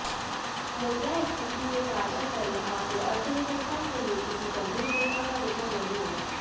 मुद्रास्फीति के ताजातरीन आंकड़े अर्थव्यवस्था के लिए किसी गंभीर चिंता का विषय नहीं हैं